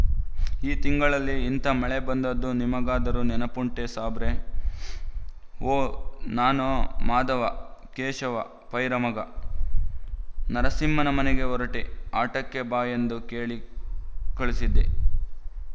ಈ ತಿಂಗಳಲ್ಲಿ ಇಂಥ ಮಳೆ ಬಂದದ್ದು ನಿಮಗಾದರೂ ನೆನಪುಂಟೆ ಸಾಬರೇ ಓ ನಾನೋ ಮಾಧವ ಕೇಶವ ಪೈರ ಮಗ ನರಸಿಂಹನ ಮನೆಗೆ ಹೊರಟೆ ಆಟಕ್ಕೆ ಬಾ ಎಂದು ಕೇಳಿ ಕಳಿಸಿದ್ದೆ